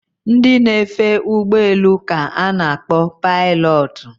Ndị na-efe ụgbọ elu ka a na-akpọ pailotu